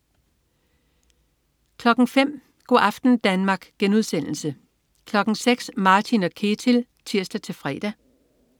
05.00 Go' aften Danmark* 06.00 Martin & Ketil (tirs-fre)